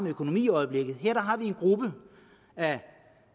økonomi i øjeblikket og her har vi en gruppe af